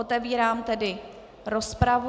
Otevírám tedy rozpravu.